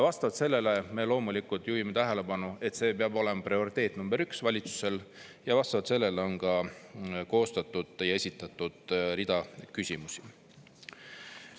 Vastavalt sellele me loomulikult juhime tähelepanu, et see peab olema prioriteet nr 1 valitsusel, ja vastavalt sellele on ka esitatud rida küsimusi.